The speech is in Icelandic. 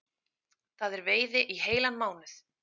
Það er veiði í heilan mánuð